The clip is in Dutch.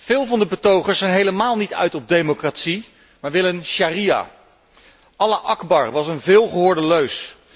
Veel van de betogers zijn helemaal niet uit op democratie, maar willen sharia Allah akbar was een veelgehoorde leus.